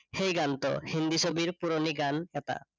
সেই গানটো। হিন্দী ছবিৰ পুৰনি গান এটা